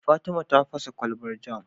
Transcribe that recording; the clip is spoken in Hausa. Fatima ta fasa kwalbar jam